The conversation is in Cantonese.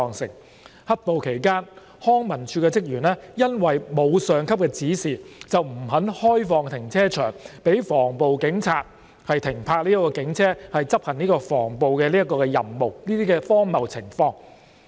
在"黑暴"期間康文署職員因為沒有上級指示，而不肯開放停車場予防暴警察停泊警車執行防暴任務，這些荒謬情況。